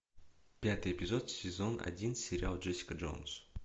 пятый эпизод сезон один сериал джессика джонс